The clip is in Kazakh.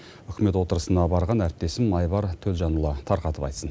үкімет отырысына барған әріптесім айбар төлжанұлы тарқатып айтсын